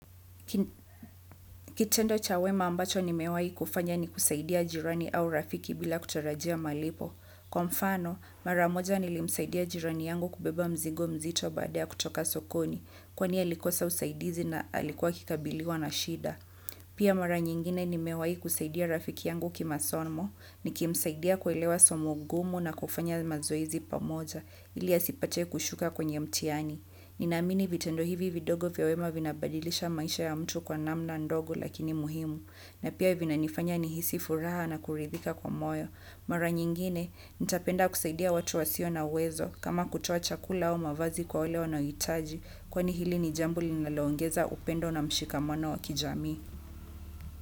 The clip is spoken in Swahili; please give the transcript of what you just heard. Kitendo cha wema ambacho nimewahi kufanya nikusaidia jirani au rafiki bila kutarajia malipo. Kwa mfano, maramoja nilimsaidia jirani yangu kubeba mzigo mzito baada kutoka sokoni, kwani alikosa usaidizi na alikuwa akikabiliwa na shida. Pia mara nyingine nimewahi kusaidia rafiki yangu kimasomo, ni kimsaidia kuelewa somo gumu na kufanya mazoezi pamoja, ili asipate kushuka kwenye mtihani. Ni naamini vitendo hivi vidogo vya wema vinabadilisha maisha ya mtu kwa namna ndogo lakini muhimu, na pia vina nifanya nihisifuraha na kuridhika kwa moyo. Mara nyingine, nitapenda kusaidia watu wasio na uwezo, kama kutoa chakula au mavazi kwa wale wanaoitaji, kwani hili ni jambo li nalongeza upendo na mshikamono wa kijamii.